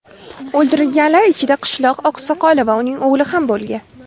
O‘ldirilganlar ichida qishloq oqsoqoli va uning o‘g‘li ham bo‘lgan.